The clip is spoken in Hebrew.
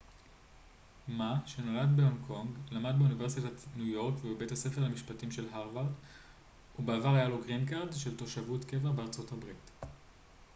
מא שנולד בהונג קונג למד באוניברסיטת ניו יורק ובבית הספר למשפטים של הרווארד ובעבר היה לו גרין קארד של תושבות קבע בארה ב